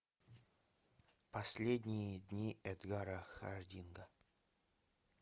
последние дни эдгара хардинга